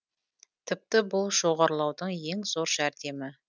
тіпті бұл жоғарылаудың ең зор жәрдемі